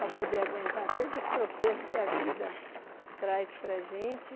Para poder aguentar todos os tropeços que a vida traz para a gente.